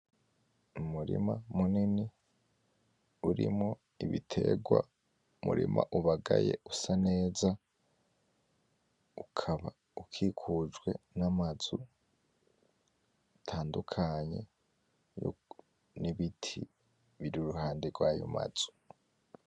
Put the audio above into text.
Umurima munini urimwo Ibiterwa. Umurima ubagaye usa neza ukaba ukikujwe n'amazu atandukanye, n'Ibiti biri iruhande rwayo mazu.